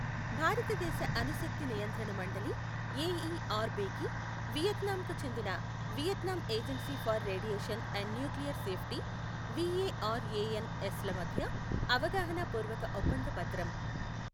భారతదేశ అణు శక్తి నియంత్రణ మండలి ఎఇఆర్ బి కి, వియత్నాంకు చెందిన Vietnam agency for radiation and nuclear safety VARANS ల మధ్య అవగాహన పూర్వక ఒప్పంద పత్రం.